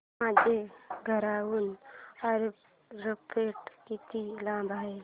माझ्या घराहून एअरपोर्ट किती लांब आहे